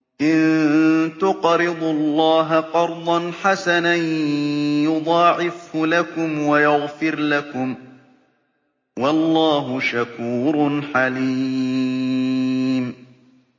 إِن تُقْرِضُوا اللَّهَ قَرْضًا حَسَنًا يُضَاعِفْهُ لَكُمْ وَيَغْفِرْ لَكُمْ ۚ وَاللَّهُ شَكُورٌ حَلِيمٌ